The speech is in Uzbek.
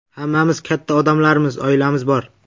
Hammamiz katta odamlarmiz, oilamiz bor.